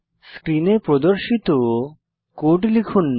স্ক্রিনে প্রদর্শিত কোড লিখুন